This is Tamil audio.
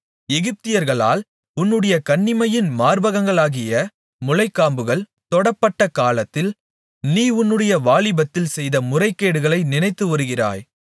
எகிப்தியர்களால் உன்னுடைய கன்னிமையின் மார்பகங்களாகிய முலைக்காம்புகள் தொடப்பட்ட காலத்தில் நீ உன்னுடைய வாலிபத்தில் செய்த முறைகேடுகளை நினைத்துவருகிறாய்